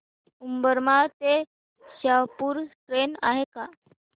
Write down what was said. उंबरमाळी ते शहापूर ट्रेन आहे का